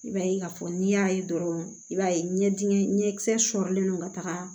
I b'a ye k'a fɔ n'i y'a ye dɔrɔn i b'a ye ɲɛ dingɛ ɲɛkisɛ sɔrɔlen don ka taga